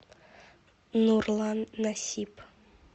нурлан насип